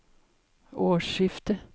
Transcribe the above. årsskiftet